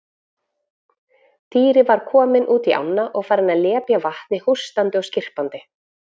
Týri var kominn út í ána og farinn að lepja vatnið hóstandi og skyrpandi.